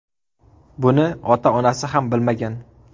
Buni ota-onasi ham bilmagan”.